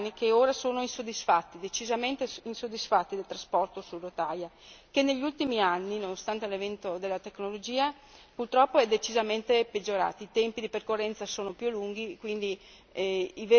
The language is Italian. I passeggeri italiani sono insoddisfatti, decisamente insoddisfatti del trasporto su rotaia, che negli ultimi anni, nonostante l'avvento della tecnologia, è decisamente peggiorato con tempi di percorrenza più lunghi.